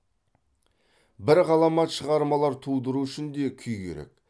бір ғаламат шығармалар тудыру үшін де күй керек